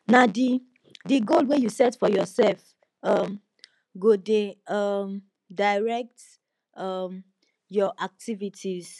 na di di goal wey you set for yoursef um go dey um direct um your activities